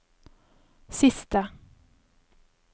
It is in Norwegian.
siste